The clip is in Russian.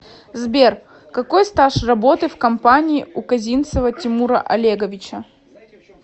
сбер какой стаж работы в компании у козинцева тимура олеговича